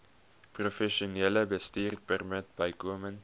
professionele bestuurpermit bykomend